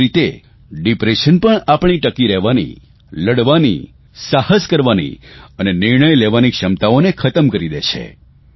એવી જ રીતે ડિપ્રેશન પણ આપણી ટકી રહેવાની લડવાની સાહસ કરવાની અને નિર્ણય લેવાની ક્ષમતાઓને ખતમ કરી દે છે